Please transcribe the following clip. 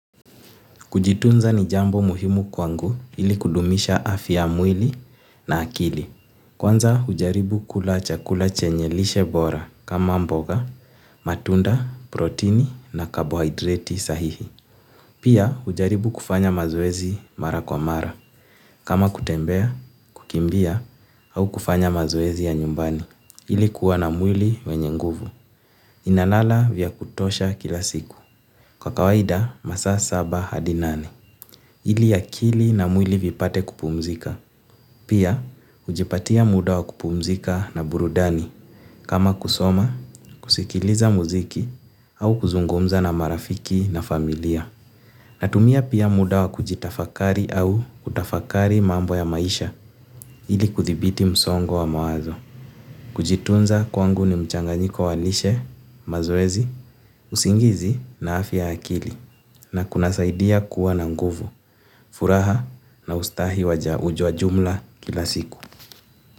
Kujitunza ni jambo muhimu kwangu ili kudumisha afya ya mwili na akili. Kwanza hujaribu kula chakula chenye lishe bora kama mboga, matunda, protini na kabohaidreti sahihi. Pia hujaribu kufanya mazoezi mara kwa mara. Kama kutembea, kukimbia au kufanya mazoezi ya nyumbani. Ili kuwa na mwili wenye nguvu. Nalala vya kutosha kila siku. Kwa kawaida, masaa saba hadi nane. Ili akili na mwili vipate kupumzika. Pia hujipatia muda wa kupumzika na burudani. Kama kusoma, kusikiliza muziki au kuzungumza na marafiki na familia. Natumia pia muda wa kujitafakari au kutafakari mambo ya maisha ili kuthibiti msongo wa mawazo. Kujitunza kwangu ni mchanganyiko wa lishe, mazoezi, usingizi na afya ya akili. Na kunasaidia kuwa na nguvu, furaha na ustahi wa jumla kila siku.